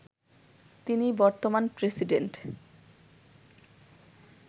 তিনি বর্তমান প্রেসিডেন্ট